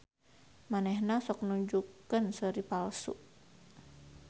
Manehna sok nunjukkeun seuri palsu.